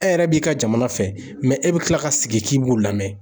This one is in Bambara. E yɛrɛ b'i ka jamana fɛ e be tila ka sigi k'i b'u lamɛn.